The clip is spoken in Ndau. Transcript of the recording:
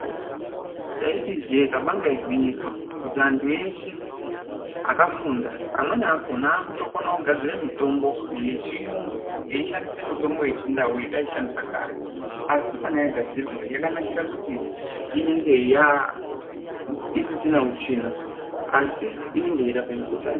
Taiti ijee kabanga igwinyiso kuti antu eshe akafunda amweni akona akutokone kugadzire mitombo yechiyungu eishandise mitombo yechindau yatai shandisa kare. Asi kana yagadzirwa yakanakira kuti inenge yaa isisina utsvina asi inenge yeirape mikuhlani.